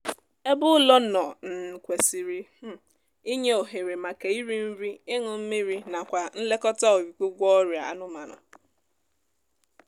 ebe ụlọ nọ um kwesịrị um inye ohere maka iri nri ịñụ mmiri nakwa nlekọta ọịgwụgwọ ọrịa anụmanụ